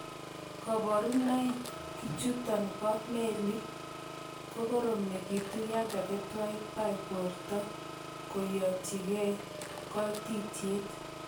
Koburonoikchuton bo melik kokoromekitu yon kakitwaitwai bortoak keyotyikei koititiet.